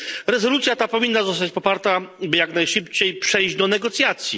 Rezolucja ta powinna zostać poparta jak najszybciej, aby przejść do negocjacji.